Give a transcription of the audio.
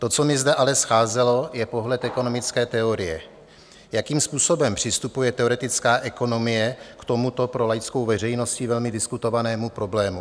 To, co mi zde ale scházelo, je pohled ekonomické teorie, jakým způsobem přistupuje teoretická ekonomie k tomuto pro laickou veřejností velmi diskutovanému problému.